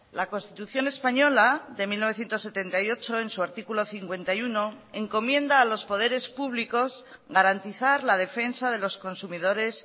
la constitución española de mil novecientos setenta y ocho en su artículo cincuenta y uno encomienda a los poderes públicos garantizar la defensa de los consumidores